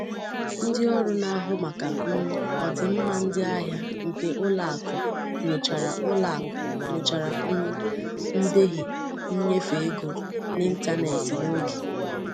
Ndị ọrụ na-ahụ maka um ọdịmma ndị ahịa nke ụlọakụ nyochara ụlọakụ nyochara um ndehie nnyefe ego n'ịntanetị n'oge.